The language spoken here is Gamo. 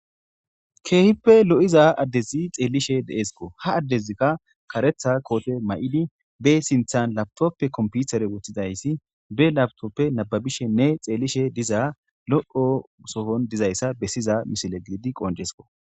keehippe lo7iza addezi xeellishe deeskko ha addezikka karetha koote may7idi be sinthan labtoppe komputere wuththidayssi be labtoppe nababishenne xeellishe diza loqo sofon dizayssa bessiza misile giidi qonjesko